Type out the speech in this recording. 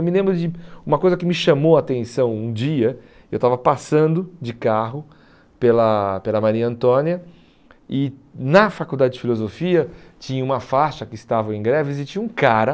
Eu me lembro de uma coisa que me chamou a atenção um dia, eu estava passando de carro pela pela Maria Antônia e na faculdade de filosofia tinha uma faixa que estava em greve e tinha um cara